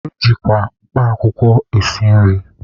Ejikwa mkpa akwụkwọ esi nri.